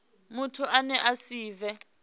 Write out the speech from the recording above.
muthu ane a si vhe